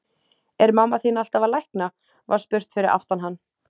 Er mamma þín alltaf að lækna? var spurt fyrir aftan hann.